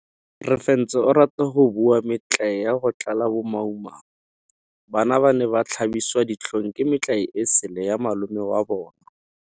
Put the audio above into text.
Refentse o rata go bua metlae ya go tlala bomaumau. Bana ba ne ba tlhabiswa ditlhong ke metlae e sele ya malome wa bona.